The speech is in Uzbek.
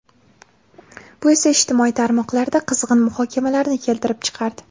Bu esa ijtimoiy tarmoqlarda qizg‘in muhokamalarni keltirib chiqardi.